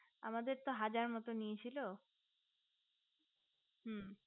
আমাদের তো হাজার মতো নিয়েছিল হুঁ